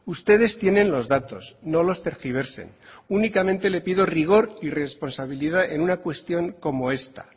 ustedes tienen los datos no los tergiversen únicamente le pido rigor y responsabilidad en una cuestión como esta